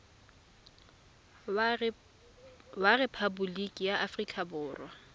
wa rephaboliki ya aforika borwa